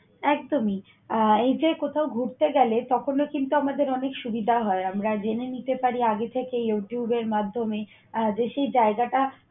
একদমই, আহ এই যে কোথাও ঘুরতে গেলে তখনও কিন্তু আমাদের অনেক সুবিধা হয়। আমরা জেনে নিতে পারি আগে থেকেই যুগের মাধ্যমে যে আহ সে জায়গাটা